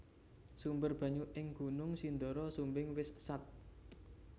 Sumber banyu ing Gunung Sindoro Sumbing wis sat